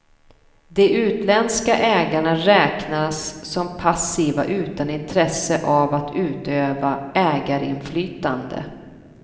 De utländska ägarna räknas som passiva utan intresse av att utöva ägarinflytande.